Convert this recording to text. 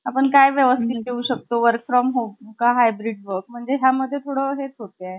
आपण काय व्यवस्थित देऊ शकतो work from home का hybrid mode ह्या मध्ये आजुन हेच होतंय .